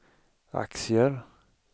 aktier